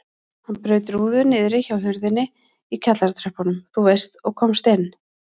Hann braut rúðu niðri hjá hurðinni í kjallaratröppunum þú veist og komst inn.